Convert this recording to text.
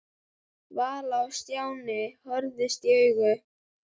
Vala og Stjáni horfðust í augu.